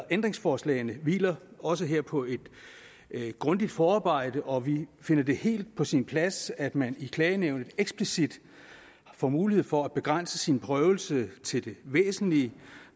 ændringsforslagene hviler også her på et grundigt forarbejde og vi finder det helt på sin plads at man i klagenævnet eksplicit får mulighed for at begrænse sin prøvelse til det væsentlige